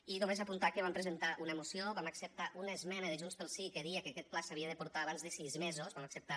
i només apuntar que vam presentar una moció vam acceptar una esmena de junts pel sí que deia que aquest pla s’havia de portar abans de sis mesos vam acceptar